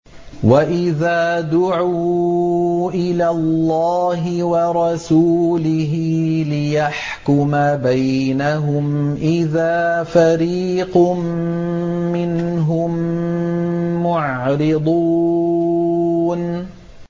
وَإِذَا دُعُوا إِلَى اللَّهِ وَرَسُولِهِ لِيَحْكُمَ بَيْنَهُمْ إِذَا فَرِيقٌ مِّنْهُم مُّعْرِضُونَ